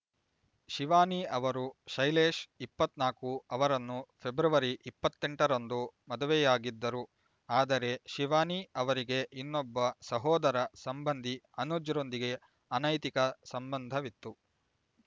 ಶಿವಾನಿ ಅವರು ಶೈಲೇಶ್ ಇಪ್ಪತ್ತ್ ನಾಕು ಅವರನ್ನು ಫೆಬ್ರವರಿ ಇಪ್ಪತ್ತೆಂಟರಂದು ಮದುವೆಯಾಗಿದ್ದರು ಆದರೆ ಶಿವಾನಿ ಅವರಿಗೆ ಇನ್ನೊಬ್ಬ ಸಹೋದರ ಸಂಬಂಧಿ ಅನುಜ್‌ರೊಂದಿಗೆ ಅನೈತಿಕ ಸಂಬಂಧವಿತ್ತು